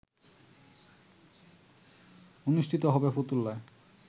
অনুষ্ঠিত হবে ফতুল্লায়